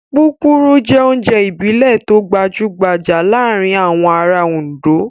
Púpurú jẹ́ oúnjẹ ìbílẹ̀ tó gbajúgbajà láàárin àwọn ará Oǹdó.